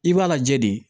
I b'a lajɛ de